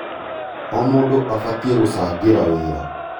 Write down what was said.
O mũndũ abatie gũcangĩra wĩra.